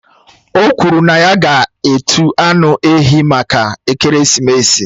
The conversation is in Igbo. O kwuru na ya ga-etu anụ ehi maka ekeresimesi